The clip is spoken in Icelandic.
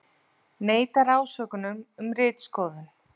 Neitar ásökunum um ritskoðun